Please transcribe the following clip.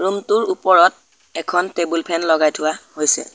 Room টোৰ ওপৰত এখন টেবুল ফেন লগাই থোৱা হৈছে।